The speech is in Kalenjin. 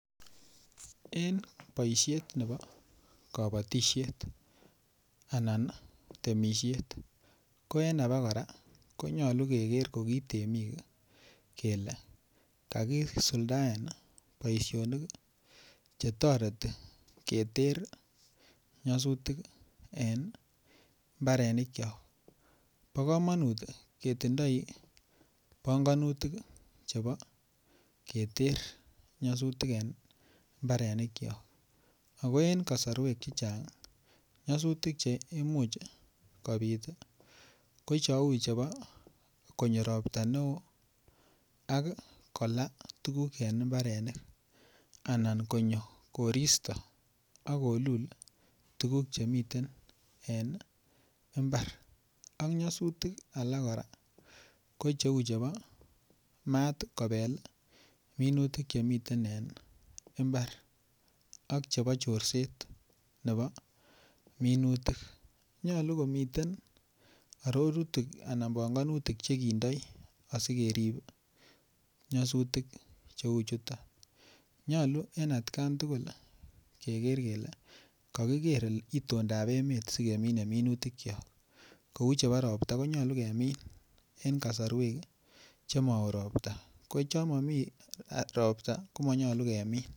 En boisiet nebo kabatisiet anan temisiet ko en abakora ko nyolu keger koki temik kele kakisuldaen boisionik Che toreti keter nyasutik en mbarenikyok bo kamanut ketindoi panganutik chebo keter nyasutik en mbarenikyok ako en kasarwek Che Chang nyosutik Che Imuch kobit ko cheu chebo konyo Ropta neo ak kolaa tuguk en mbarenik anan konyo koristo ak kolul tuguk Che miten en mbar ak alak kora ko cheu chebo maat kobel minutik Che miten en mbar ak chebo chorset nebo minutik nyolu komiten arorutik anan panganutik Che kindoi asi kerib nyosutik cheu chuton nyolu en atkan tugul kokiker itondap emet asi kemine minutik kyok kou chebo Ropta ko nyolu kemin en kasarwek Che Mao ropta ko yon momi ropta ko manyolu kemin